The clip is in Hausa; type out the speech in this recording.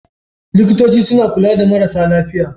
Likitoci suna kula da marasa lafiya.